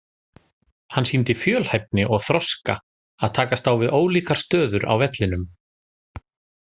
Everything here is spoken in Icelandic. Hann sýndi fjölhæfni og þroska að takast á við ólíkar stöður á vellinum.